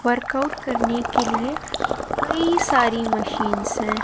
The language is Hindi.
वर्कआउट करने के लिए कई सारी मशीन्स है।